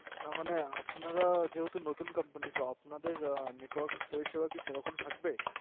না মানে আপনারা যেহেতু নতুন Company তো আপনাদের Network পরিসেবা কি সেরকম থাকবে